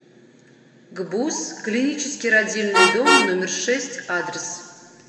гбуз клинический родильный дом номер шесть адрес